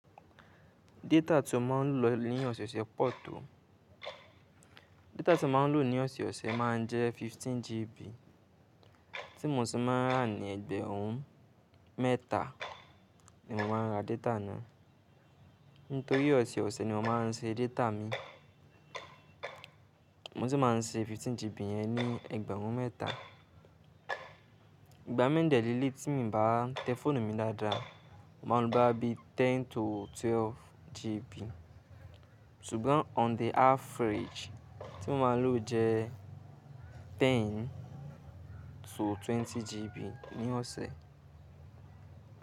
Data tí mo máa ń lò ní ọ̀sẹ̀ẹ̀sẹ̀ pọ to, data tí mo máa ń lò ní ọ̀sẹ̀ẹ̀sẹ̀ má a jẹ́ fifteen gig, tí mo sì máa n rà ní ẹgbẹ̀rún mẹ́ta ni mo máa ń ra data náà. Nítorí ọ̀sẹ̀ẹ̀sẹ̀ ni mo máa ń ṣe data mi, mo sì máa ń ṣe fifteen gig yẹn ní ẹgbẹ̀rún mẹ́ta. Ìgbà mii n dẹ́ leleyi tí mo ń bá tẹ fóònù mi dáadáa, màá lo bá bí ten to twelve gig, ṣùgbọ́n on the average tí mo máa lò jẹ́ ten to twenty GB ní ọ̀sẹ̀